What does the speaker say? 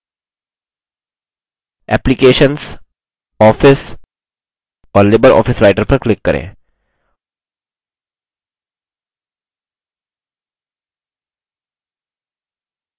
applications office और libreoffice writer पर click करें